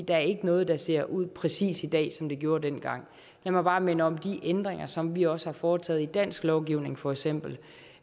er ikke noget der ser ud præcis i dag som det gjorde dengang lad mig bare minde om de ændringer som vi også har foretaget i dansk lovgivning for eksempel